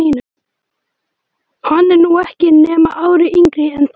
Hann er nú ekki nema ári yngri en þið.